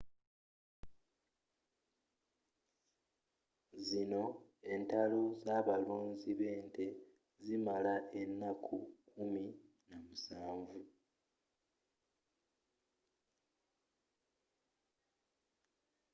zino entalo z'abalunzi b'ente zimala ennaku kumi namusanvu